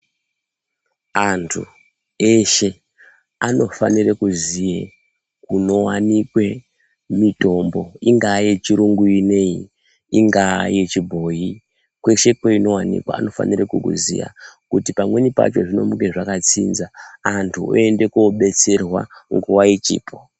Antu eshe anofanire kuziye kunowanikwe mitombo. Ingaa yechiyungu ineyi, ingaa yechibhoyi, kweshe kweinowanikwa anofanire kukuziya kuti pamweni pacho zvinomuke zvakatsinza, antu oende kobetserwa nguwa ichipo.